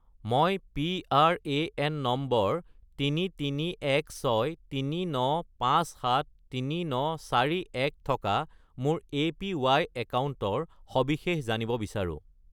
মই PRAN number 331639573941 থকা মোৰ এপিৱাই একাউণ্টৰ সবিশেষ জানিব বিচাৰোঁ